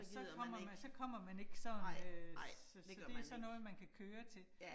Så kommer man så kommer man ikke sådan øh, så så det sådan noget, man kan køre til